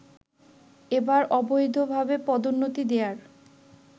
এবার অবৈধভাবে পদোন্নতি দেয়ার